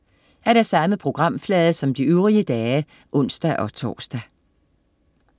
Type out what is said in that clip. Samme programflade som de øvrige dage (ons-tors)